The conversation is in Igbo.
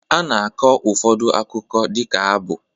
A na-akọ ụfọdụ akụkọ dịka abụ